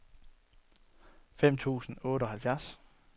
femten tusind og otteoghalvfjerds